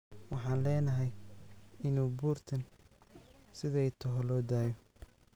Waxan lenahy inu buurtan sidhay toxo loodayo.